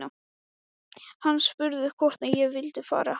Hann spurði hvort ég vildi fara á